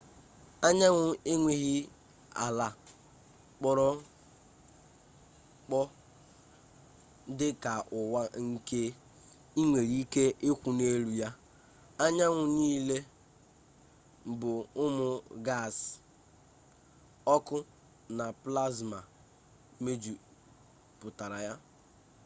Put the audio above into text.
anyanwụ enweghị ala kpọrọ mkpọ dị ka ụwa nke ị nwere ike ịkwụ n'elu ya anyanwụ niile bụ ụmụ gaasị ọkụ na plasma mejupụtara ya